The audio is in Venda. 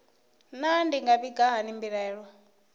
naa ndi nga vhiga hani mbilaelo